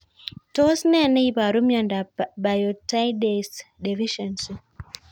Tos nee neiparu miondop Biotinidase deficiency